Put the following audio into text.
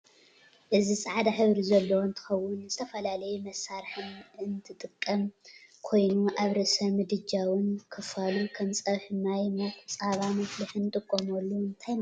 እዚ ፃዕዳ ሕብሪ ዘለዎ እንትከውን ንዝተፈላላዩ መሳርሕ እንጥቅም ኮይኑ ኣብ ርእስ ምድጃ እውን ከፍሉ ከም ፀብሒ፣ ማይ ሙቅ፣ ፃባ መፍሊሕ ንጥቀመሉ እንታይ እዳተበሃለ ይፅዋዕ ትፍልጥዶ?